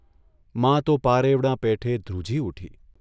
મા તો પારેવડાં પેઠે ધ્રુજી ઊઠી.